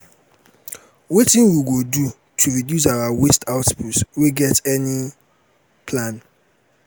wetin we go do to reduce our waste output we get any plan?